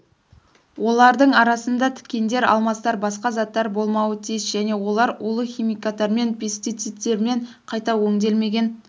олардың арасында тікендер алмастар басқа заттар болмауы тиіс және олар улы химикаттармен пестицидтермен қайта өңделмеген